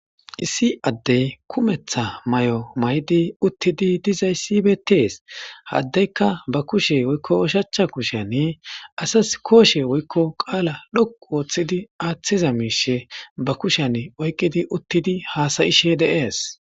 Issi adeyi kumeththa mayo mayidd uttidi dizayiss betees.haa adeyik baa kushshe woyikko oshshachcha kushshen asas koshshe woyikko qala dhoqqu oththidi aththizz mishshe baa kushshenni oyikkidi uttidi hasayishshe de'ees.